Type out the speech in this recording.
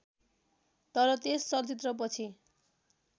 तर त्यस चलचित्रपछि